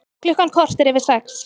Klukkan korter yfir sex